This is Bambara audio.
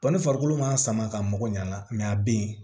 ni farikolo ma sama ka mago ɲɛ a la a bɛ yen